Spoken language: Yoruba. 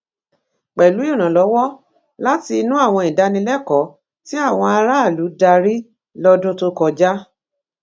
pẹlú ìrànlọwọ láti inú àwọn ìdánilẹkọọ tí àwọn aráàlú darí lọdún tó kọjá